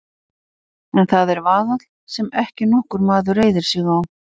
En það er vaðall sem ekki nokkur maður reiðir sig á.